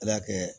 Ala y'a kɛ